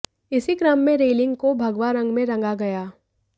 इसी कम्र में रेलिंग को भगवा रंग में रंगा गया